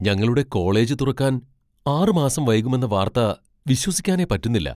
ഞങ്ങളുടെ കോളേജ് തുറക്കാൻ ആറ് മാസം വൈകുമെന്ന വാർത്ത വിശ്വസിക്കാനേ പറ്റുന്നില്ല.